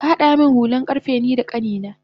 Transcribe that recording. Kahada min hulan karfe nida kanina